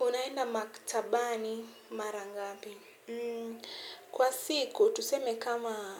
Unaenda maktabani mara ngapi? Kwa siku, tuseme kama